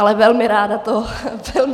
Ale velmi ráda to zodpovím.